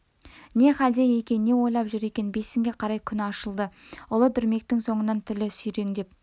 не хәлде екен не ойлап жүр екен бесінге қарай күн ашылды ұлы дүрмектің соңынан тілі сүйреңдеп